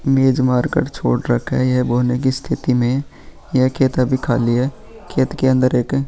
बीज मार कर छोड़ रखे है ये बोनी की स्थिति में या खेत अभी खाली है खेत के अंदर एक --